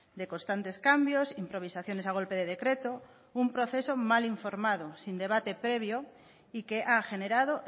de constantes cambios improvisaciones a golpe de decreto un proceso mal informado y sin debate previo y que ha generado